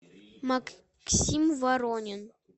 максим воронин